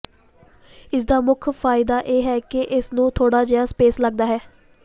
ਇਸ ਦਾ ਮੁੱਖ ਫਾਇਦਾ ਇਹ ਹੈ ਕਿ ਇਸ ਨੂੰ ਥੋੜ੍ਹਾ ਜਿਹਾ ਸਪੇਸ ਲੱਗਦਾ ਹੈ